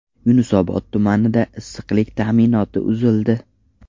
Yunusobod tumanida issiqlik ta’minoti uzildi.